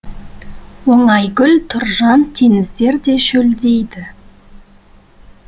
оңайгүл тұржан теңіздер де шөлдейді